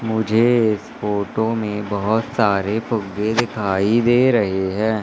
मुझे इस फोटो में बहोत सारे फुग्गे दिखाई दे रहे हैं।